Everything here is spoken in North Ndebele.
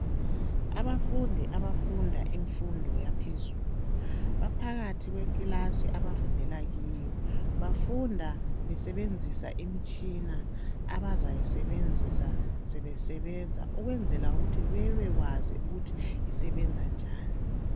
Abafundi abafunda imfundo yaphezulu baphakathi kwekilasi abafundela kiyo. Bafunda besebenzisa imitshina abazayisebenzisa sebesebenza ukwenzela ukuthi bebekwazi ukuthi usebenza njani.